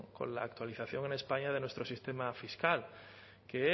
con la actualización en españa de nuestro sistema fiscal que